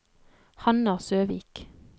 Hanna Søvik